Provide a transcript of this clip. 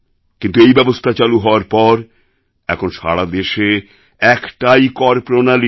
কিন্তু এই ব্যবস্থা চালু হওয়ার পর এখন সারা দেশে একটাই কর প্রণালী